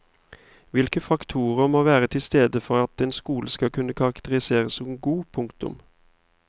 Hvilke faktorer må være til stede for at en skole skal kunne karakteriseres som god. punktum